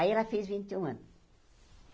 Aí ela fez vinte e um anos.